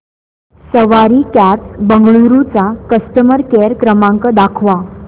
सवारी cabs Bengaluru चा customer care क्रमांक दाखवा